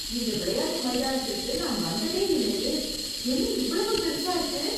இந்த விளையாட்டு மைதானத்திற்கு நான் வந்ததே இல்லையே, என்ன இவ்வளவு பெருசா இருக்கு.